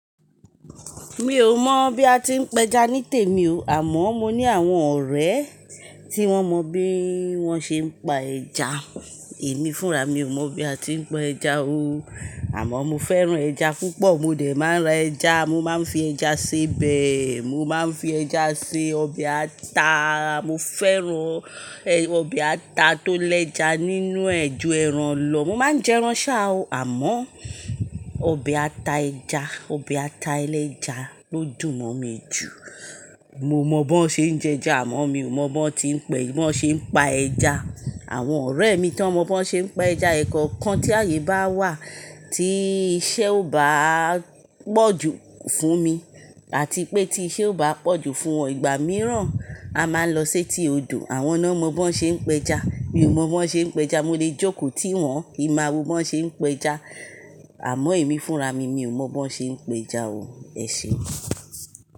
Mi ò mọ̀ bí a ti ń pẹja ní tèmi o, àmọ́ mo ní àwọn ọ̀rẹ́ tí wọ́n mọ bí wọ́n ṣe ń pa ẹja. Èmi fúnra mi ò mọ̀ bí a ti ń pẹja o. Àmọ́ mo fẹ́ran ẹja púpọ̀, mo dẹ̀ máa ń ra ẹja, mo máa ń fi ẹja se bẹ̀, mo máa ń fi ẹja se ọbẹ̀ ata. Mo fẹ́ran ẹ- ọbẹ̀ ata tó lẹ́ja nínú ẹ́ ju ẹran lọ. Mo máa ń jẹ ẹran ṣá à o, àmọ́ ọbẹ̀ ata ẹja, ọbẹ̀ ata ẹlẹ́ja ló dùn mọ́ mi jù. Mo mọ̀ bó ṣe ń jẹ ẹja, àmọ́ mi ò mọ̀ bó tí ń pẹ́, bó ṣe ń pa ẹja. Àwọn ọ̀rẹ́ mi tí wọ́n mọ̀ bó ṣe ń pa ẹja, ẹ̀kọ́ọ̀kan tí ààyè bá wà, tí iṣẹ́ ò bá pọ̀ jù fún mi àti pé tí iṣẹ́ ò bá pọ̀ jù fún wọn, ìgbà mìíràn a máa ń lọ séti odò. Àwọn náà mọ bó ṣe ń pẹja, mi ò mọ̀ bó ṣe ń pẹja. Mo lè jókòó ti wọn kí n máa wo bó ṣe ń pẹja, àmọ́ èmi fúnra mi, mi ò mọ̀ bó ṣe ń pẹja o. Ẹ ṣeun.